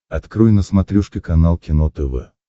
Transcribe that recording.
открой на смотрешке канал кино тв